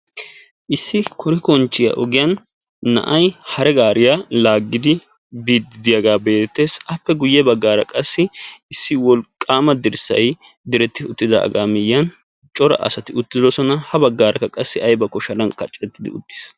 issi korikonchchiya ogiyaan na'ay hare gaariya laagidi biide diyaaga be'eetees appe guyye baggara qassi issi wolqqama dirssay diretti uttidaaga cora asati uttidoosona ha baggarakka qassi aybbakko sharan kaqqi uttidoosona.